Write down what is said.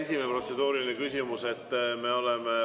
Esimese protseduurilise küsimuse vastus.